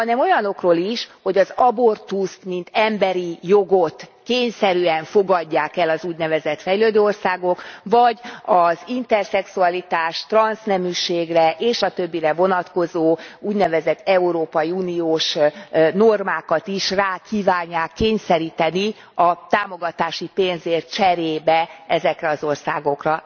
Hanem olyanokról is, hogy az abortuszt, mint emberi jogot kényszerűen fogadják el az úgynevezett fejlődő országok, vagy az interszexualitás, transzneműségre és a többire vonatkozó, úgynevezett európai uniós normákat is rá kívánják kényszeríteni a támogatási pénzért cserébe ezekre az országokra.